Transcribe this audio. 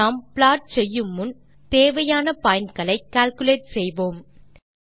நாம் ப்ளாட் செய்யுமுன் தேவையான pointகளை கால்குலேட் செய்வோம்